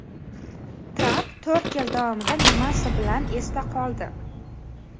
Tramp to‘rt yil davomida nimasi bilan esda qoldi?.